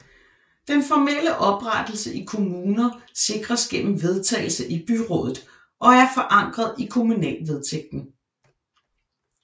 Den formelle oprettelse i kommuner sikres gennem vedtagelse i byrådet og er forankret i kommunalvedtægten